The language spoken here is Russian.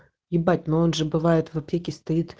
ебать но он же бывает в аптеке стоит